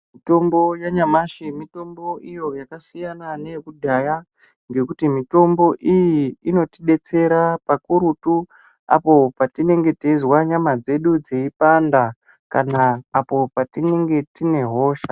Mitombo yanyamashi mitombo iyo yakasiyana neyekudhaya ngekuti mitombo iyi inotidetsera pakurutu apo patinenge teizwa nyama dzedu dzeipanda kana apo patinenge tine hosha.